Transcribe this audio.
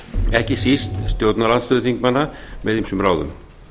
ekki síst stjórnar andstöðuþingmanna með ýmsum ráðum